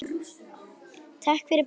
Takk fyrir brosið.